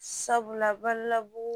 Sabula balabu